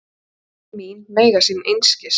Orð mín mega sín einskis.